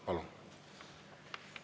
Palun!